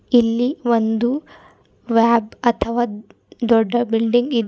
ಇಲ್ಲಿ ಒಂದು ವೈಬ್ ಅಥವಾ ದೊಡ್ಡ ಬಿಲ್ಡಿಂಗ್ ಇದೆ.